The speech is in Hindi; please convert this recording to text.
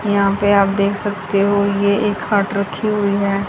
यहां पे आप देख सकते हो ये एक हट रखी हुई है।